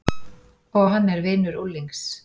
Og hann er vinur unglings.